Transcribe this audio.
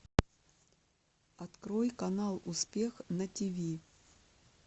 открой канал успех на тиви